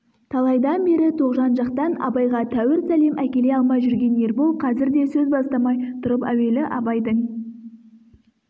талайдан бері тоғжан жақтан абайға тәуір сәлем әкеле алмай жүрген ербол қазір де сөз бастамай тұрып әуелі абайдың